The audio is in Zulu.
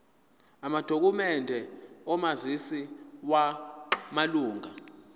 amadokhumende omazisi wamalunga